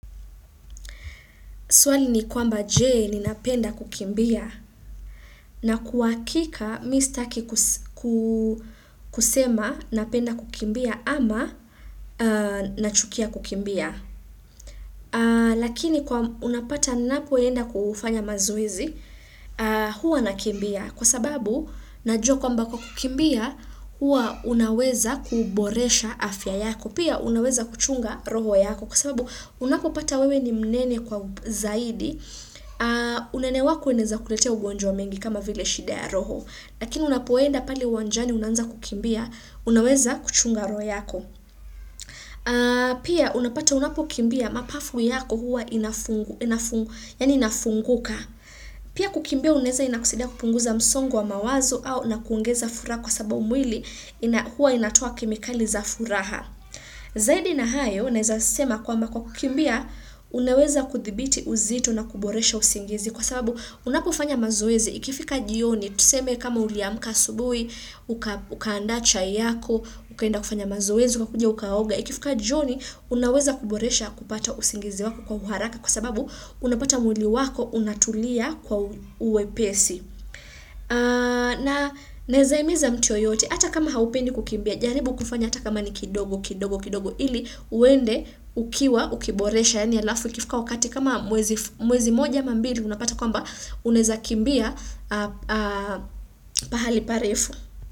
Swali ni kwamba je ninapenda kukimbia na kwa hakika mi sitaki kusema napenda kukimbia ama nachukia kukimbia. Lakini unapata ninapoenda kufanya mazoezi huwa nakimbia kwa sababu najua kwamba kwa kukimbia huwa unaweza kuboresha afya yako pia unaweza kuchunga roho yako kwa sababu unapopata wewe ni mnene kwa zaidi, unene wako unaeza kuletea ugonjwa mengi kama vile shida ya roho, lakini unapoenda pale uwanjani unaanza kukimbia, unaweza kuchunga roa yako. Pia unapata unapokimbia mapafu yako huwa inafunguka. Pia kukimbia unaeza inakusaidia kupunguza msongo wa mawazo au na kuogeza furaha kwa sababu mwili huwa inatoa kemikali za furaha. Zaidi na hayo, naeza sema kwamba kwa kukimbia unaweza kuthibiti uzito na kuboresha usingizi Kwa sababu, unapofanya mazoezi ikifika jioni tuseme kama uliamka asubuhi ukaandaa chai yako, ukaenda kufanya mazoezi, ukakuja ukaoga ikifika jioni unaweza kuboresha kupata usingizi wako kwa uharaka kwa sababu unapata mwili wako unatulia kwa uwepesi naeza imiza mtu yoyote hata kama haupendi kukimbia jaribu kufanya hata kama ni kidogo kidogo kidogo ili uende ukiwa ukiboresha yaani alafu ikifka wakati kama mwezi moja ama mbiri unapata kwamba unaeza kimbia pahali parefu.